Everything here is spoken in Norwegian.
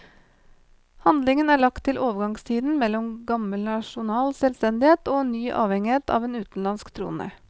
Handlingen er lagt til overgangstiden mellom gammel nasjonal selvstendighet og en ny avhengighet av en utenlandsk trone.